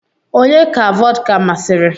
Onye ka vọdka masịrị?